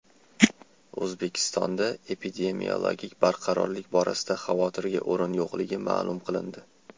O‘zbekistonda epidemiologik barqarorlik borasida xavotirga o‘rin yo‘qligi ma’lum qilindi .